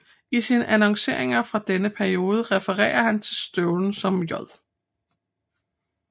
I sine annonceringer fra denne periode referer han til støvlen som J